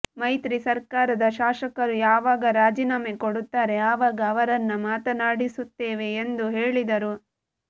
ಮೈತ್ರಿ ಸರ್ಕಾರದ ಶಾಸಕರು ಯಾವಾಗ ರಾಜೀನಾಮೆ ಕೊಡುತ್ತಾರೆ ಆವಾಗ ಅವರನ್ನ ಮಾತನಾಡಿಸುತ್ತೇವೆ ಎಂದು ಹೇಳಿದರು